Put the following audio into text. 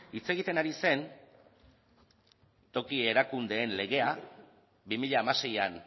hitz egiten ari zen toki erakundeen legea bi mila hamaseian